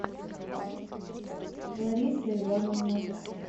лариса ивановна